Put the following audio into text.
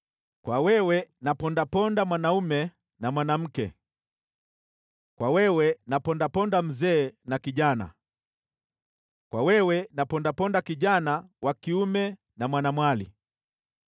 kwa wewe napondaponda mwanaume na mwanamke, kwa wewe napondaponda mzee na kijana, kwa wewe napondaponda kijana wa kiume na mwanamwali,